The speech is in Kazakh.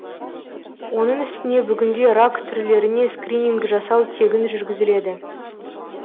оның үстіне бүгінде рак түрлеріне скрининг жасау тегін жүргізіледі